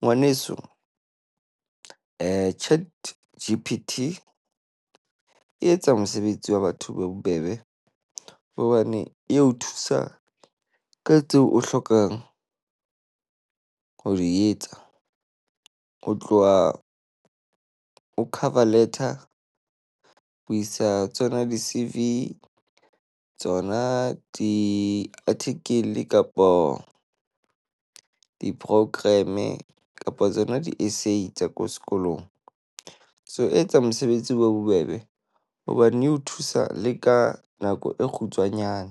Ngwaneso, ChatGPT e etsa mosebetsi wa batho o be bobebe hobane e o thusa ka tseo o hlokang ho di etsa. Ho tloha ho cover letter, ho isa tsona di-CV. Tsona di-articel kapo di-program. Kapo tsona di-essay tsa ko sekolong. So e etsa mosebetsi o be bobebe, hobane o thusa le ka nako e kgutshwanyane.